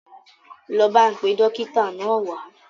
Lọ bá n pe Dókítà náà wa